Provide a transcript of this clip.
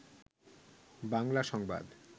বাংলা সংবাদ